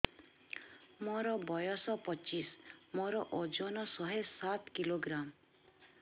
ମୋର ବୟସ ପଚିଶି ମୋର ଓଜନ ଶହେ ସାତ କିଲୋଗ୍ରାମ